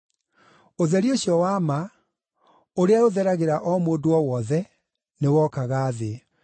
Ũtheri ũcio wa ma, ũrĩa ũtheragĩra o mũndũ o wothe, nĩwokaga thĩ.